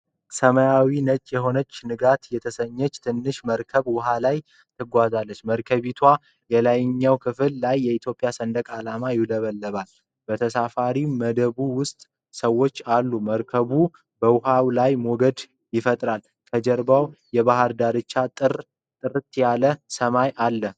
ሰማያዊና ነጭ የሆነች "ንጋት" የተሰኘች ትንሽ መርከብ ውሀ ላይ ትጓዛለች። በመርከቢቱ የላይኛው ክፍል ላይ የኢትዮጵያ ሰንደቅ ዓላማ ይውለበለባል። በተሳፋሪ መደቡ ውስጥ ሰዎች አሉ፤ መርከቡ በውሃው ላይ ሞገድ ይፈጥራል። ከጀርባው የባህር ዳርቻና ጥርት ያለ ሰማይ አለ።